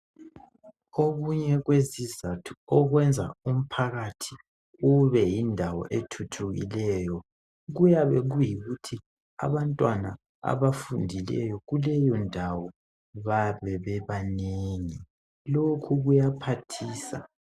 Okunye kwezizatho okwenza umphakathi ube yindawo ethuthukileyo kuyabe kuyikuthi abantwana abafundileyo kuleyondawo bayabe bebanengi, lokho kuyaphathisa